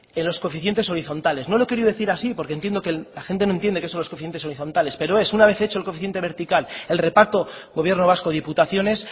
en los coeficientes horizontales no lo he querido decir así porque entiendo que la gente no entiende que son los coeficientes horizontales pero es una vez hecho el coeficiente vertical el reparto gobierno vasco y diputaciones